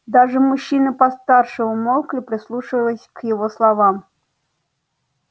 даже мужчины постарше умолкли прислушиваясь к его словам